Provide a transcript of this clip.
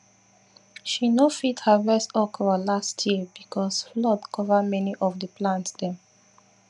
she no fit harvest okra last year because flood cover many of the plant dem